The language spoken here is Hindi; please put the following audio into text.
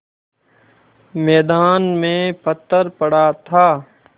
मैदान में पत्थर पड़ा था